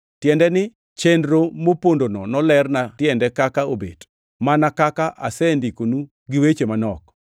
tiende ni, chenro mopondono nolerna tiende kaka obet, mana kaka asendikonu gi weche manok.